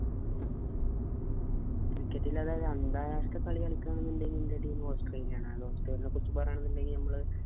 wicket ഇല്ലാതെ അന്താരാഷ്ട്ര കളികളിക്കണമെന്നുണ്ടെങ്കിൽ എന്റെ teamaustralia ആണ്. australia നെ കുറിച്ചു പറയണമെന്നുണ്ടെങ്കിൽ നമ്മള്